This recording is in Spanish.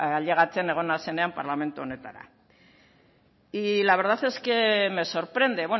ailegatzen egon nazenean parlamentu honetara y la verdad es que me sorprende